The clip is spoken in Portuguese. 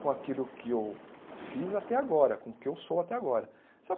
com aquilo que eu fiz até agora, com o que eu sou até agora.